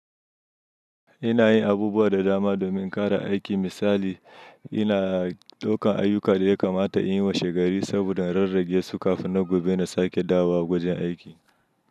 Ina yin abubuwa da dama domin ƙara aiki. Misali ina ɗaukan ayyuka da ya kamata in yi washe gari saboda rarrage su kafin na gobe na sake dawowa wajen aiki.